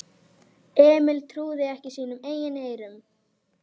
Emil trúði ekki sínum eigin eyrum.